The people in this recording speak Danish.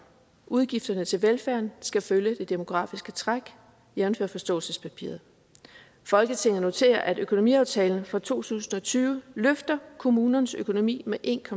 udgifterne til velfærden skal følge det demografiske træk jævnfør forståelsespapiret folketinget noterer at økonomiaftalen for to tusind og tyve løfter kommunernes økonomi med en